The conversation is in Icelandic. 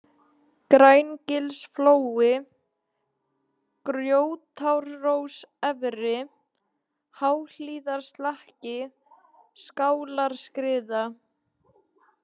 Grængilsflói, Grjótárós-efri, Háhlíðarslakki, Skálarskriða